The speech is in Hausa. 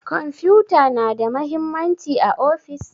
kwamfuta na da mahimmanci a ofis?